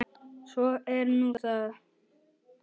Svo er nú það.